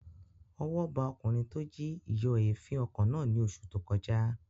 Ọwọ́ ba ọkùnrin tó jí ìyọ̀èéfín ọkọ̀ náà ní oṣù tó kọjá